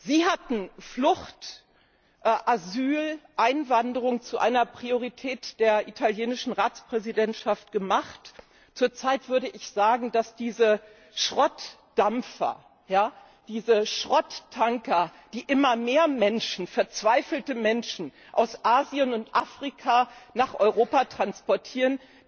Sie hatten Flucht, Asyl, Einwanderung zu einer Priorität der italienischen Ratspräsidentschaft gemacht. Zurzeit würde ich sagen, dass diese Schrottdampfer, diese Schrotttanker, die immer mehr Menschen, verzweifelte Menschen, aus Asien und Afrika nach Europa transportieren,